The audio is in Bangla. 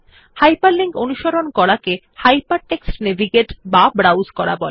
হাইপারলিংক অনুসরণ করাকে হাইপারটেক্সট নেভিগেট অথবা ব্রাউজ করা বলে